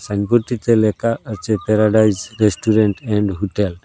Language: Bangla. সাইনবোর্ডটিতে লেকা আছে প্যারাডাইস রেস্টুরেন্ট এন্ড হুটেল ।